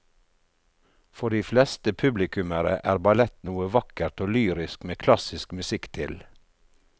For de fleste publikummere er ballett noe vakkert og lyrisk med klassisk musikk til.